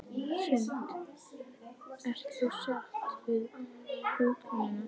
Hrund: Ert þú sátt við útkomuna?